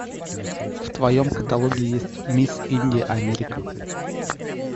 в твоем каталоге есть мисс индия америка